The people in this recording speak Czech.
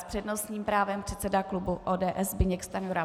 S přednostním právem předseda klubu ODS Zbyněk Stanjura.